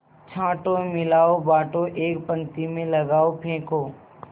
छाँटो मिलाओ बाँटो एक पंक्ति में लगाओ फेंको